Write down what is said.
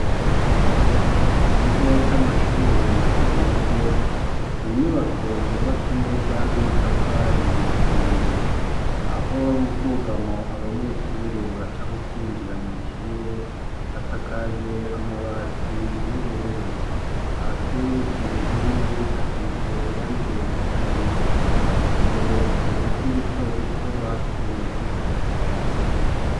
Mu kigo c'amashure mato mato, n'inyubako zubatse neza, n'amatafari ahiye, aho m'ubwugamo abanyeshure baca mu kwinjira mw'ishure hasakaje amabati y'ubururu, hasi ku nkingi hasize irangi risa n'ivu, imbere hari uduti duto duto bateye two gushariza ikigo.